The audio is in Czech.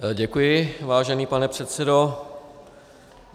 Děkuji, vážený pane předsedo.